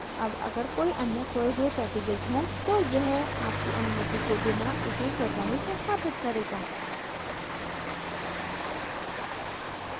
अब अगर कोई any खोये हुए packages हों तो यह आपकी अनुमति के बिना इसे स्वतः ही संस्थापित करेगा